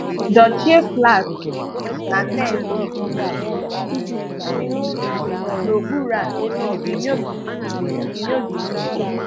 Dochie flash na tensi ikuku n’ụlọ́ ùfèné, n’okpùrù a inyòghì inyòghì ìhè.